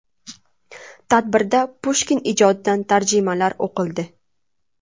Tadbirda Pushkin ijodidan tarjimalar o‘qildi.